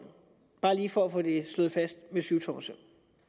bare lige for at få det slået fast med syvtommersøm